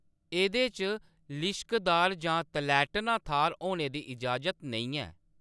एह्‌‌‌दे च लिश्कदार जां तलैह्‌‌टना थाह्‌र होने दी इजाज़त नेईं ऐ।